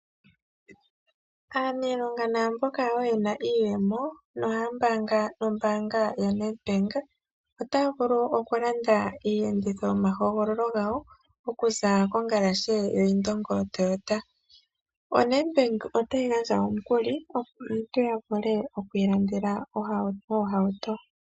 Aanilionga naamboka woo yena iiyemo nohaya mbaanga nombaanga ya Nedbank otaya vulu oku landa iiyenditho yoma hogololo gawo okuza kongalashe yo Indongo Toyota. ONedbank otayi gandja omukuli opo aantu ya vule okwii landela oohauto.